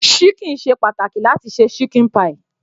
Ṣíkìn ṣe pàtàkì láti se ṣíkìn pie.